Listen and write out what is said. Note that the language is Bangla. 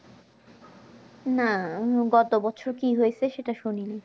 না গত বছর কি হয়েছে সেটা শুনিনি